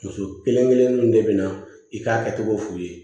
Muso kelen kelen kelenninw de be na i k'a kɛcogo f'i ye